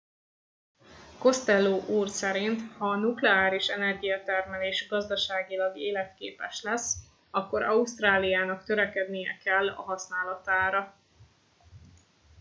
costello úr szerint ha a nukleáris energiatermelés gazdaságilag életképes lesz akkor ausztráliának törekednie kell a használatára